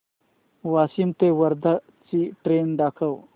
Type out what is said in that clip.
वाशिम ते वर्धा ची ट्रेन दाखव